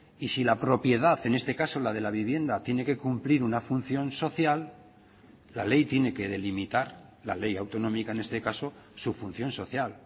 y si la propiedad en este caso la de la vivienda tiene que cumplir una función social la ley tiene que delimitar la ley autonómica en este caso su función social